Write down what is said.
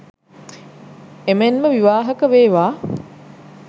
එමෙන්ම විවාහක වේවා